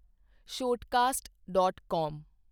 Shoutcast dot ਕਾਮ